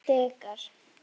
Hann stikar.